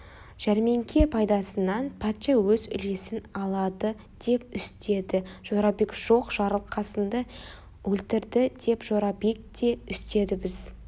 жәрмеңке пайдасынан патша өз үлесін алады деп үстеді жорабек жоқ жарылқасынды өлтірді деп жорабек те үстеді біз